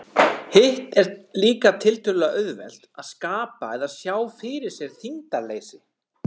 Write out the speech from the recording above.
Hitt er líka tiltölulega auðvelt, að skapa eða sjá fyrir sér þyngdarleysi.